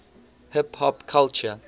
hip hop culture